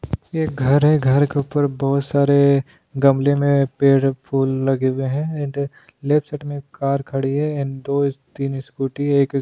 ये घर है घर के ऊपर बहुत सारे गमली में पेड़ फूल लगे हुए हैं एंड लेफ्ट साइट में कार खड़ी है एंड दो तीन स्कूटी एक --